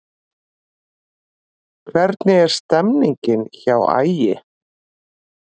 Hvernig er stemningin hjá Ægi?